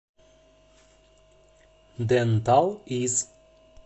ден тал из